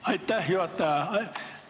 Aitäh, juhataja!